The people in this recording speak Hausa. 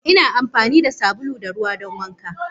Ina amfani da sabulu da ruwa don wanka.